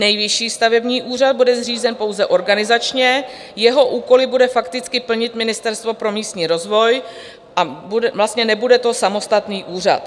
Nejvyšší stavební úřad bude zřízen pouze organizačně, jeho úkoly bude fakticky plnit Ministerstvo pro místní rozvoj a vlastně to nebude samostatný úřad.